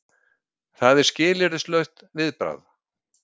Það er skilyrðislaust viðbragð.